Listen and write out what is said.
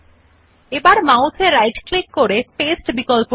now right click on the mouse and click on the copy option